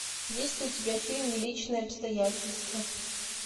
есть ли у тебя фильм личные обстоятельства